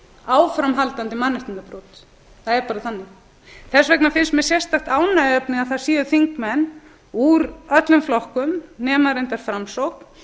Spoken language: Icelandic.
áframhaldandi mannréttindabrot það er bara þannig þess vegna finnst mér sérstakt ánægjuefni að það séu þingmenn úr öllum flokkum nema reyndar framsókn